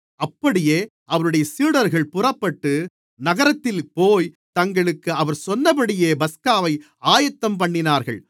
அப்படியே அவருடைய சீடர்கள் புறப்பட்டு நகரத்தில்போய் தங்களுக்கு அவர் சொன்னபடியே பஸ்காவை ஆயத்தம்பண்ணினார்கள்